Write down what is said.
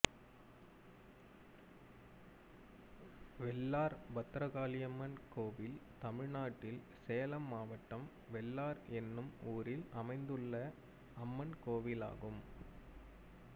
வெள்ளார் பத்ரகாளியம்மன் கோயில் தமிழ்நாட்டில் சேலம் மாவட்டம் வெள்ளார் என்னும் ஊரில் அமைந்துள்ள அம்மன் கோயிலாகும்